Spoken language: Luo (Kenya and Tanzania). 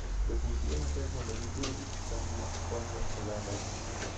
Jopur tiyo matek mondo gipidh cham ma konyo ogandagi.